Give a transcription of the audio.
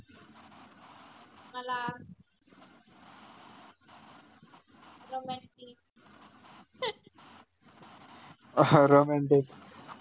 त